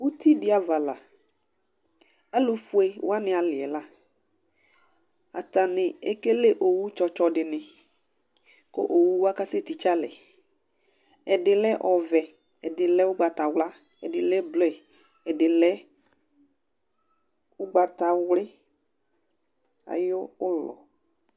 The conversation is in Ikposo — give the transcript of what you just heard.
Uti dɩ ava la ,alʋ fue wanɩ alɩ yɛ laAtanɩ ekele owu tsɔtsɔ dɩnɩ; kʋ owu wa kasɛ tɩtsealɛ: ɛdɩ lɛ ɔvɛ, ɛdɩ lɛ ʋgbatawla, ɛdɩ lɛ blue, ɛdɩ lɛ ʋgbatawlɩ ayʋ ʋlɔ